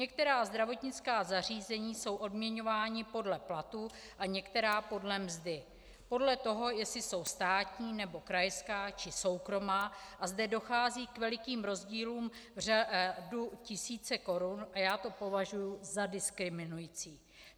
Některá zdravotnická zařízení jsou odměňována podle platů a některá podle mzdy, podle toho, jestli jsou státní, nebo krajská, či soukromá, a zde dochází k velikým rozdílům v řádu tisíce korun a já to považuji za diskriminující.